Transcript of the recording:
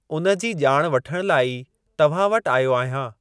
उन जी ॼाण वठण लाइ ई तव्हां वटि आयो आहियां।